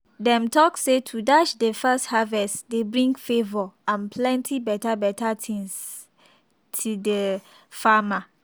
dem tok say to dash de first harvest dey bring favour and plenty beta beta things t de farmer.